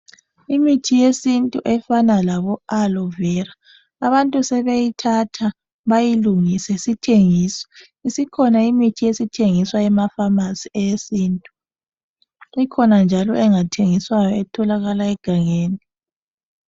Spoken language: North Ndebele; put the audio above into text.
Imithi yesintu efana labo aloe vera abantu sebeyithatha bayilungise, sithengiswa. Isikhona imithi esithengiswa emafamasi eyesintu. Ikhona njalo engathengiswayo etholaka egangeni.